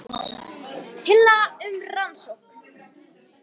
Tillaga um rannsókn